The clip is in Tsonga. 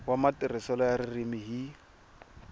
wa matirhiselo ya ririmi hi